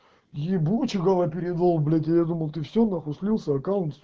ебучей галоперидол блять я думал ты все на хуй слился аккунт